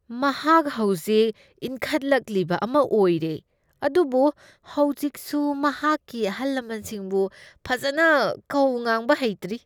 ꯃꯍꯥꯛ ꯍꯧꯖꯤꯛ ꯏꯟꯈꯠꯂꯛꯂꯤꯕ ꯑꯃ ꯑꯣꯏꯔꯦ, ꯑꯗꯨꯕꯨ ꯍꯧꯖꯤꯛꯁꯨ ꯃꯍꯥꯛꯀꯤ ꯑꯍꯜꯂꯃꯟꯁꯤꯡꯕꯨ ꯐꯖꯅ ꯀꯧ ꯉꯥꯡꯕ ꯍꯩꯇ꯭ꯔꯤ꯫